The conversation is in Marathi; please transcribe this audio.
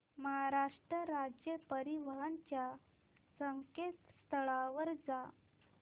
महाराष्ट्र राज्य परिवहन च्या संकेतस्थळावर जा